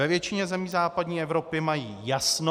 Ve většině zemí západní Evropy mají jasno.